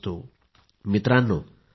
it is ok to be mediocre